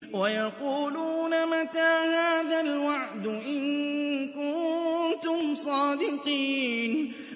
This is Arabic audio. وَيَقُولُونَ مَتَىٰ هَٰذَا الْوَعْدُ إِن كُنتُمْ صَادِقِينَ